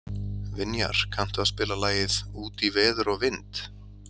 Vinjar, kanntu að spila lagið „Út í veður og vind“?